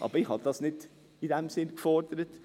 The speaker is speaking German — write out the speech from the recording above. Aber ich habe das nicht in diesem Sinne gefordert.